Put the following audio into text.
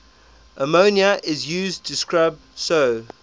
ammonia is used to scrub so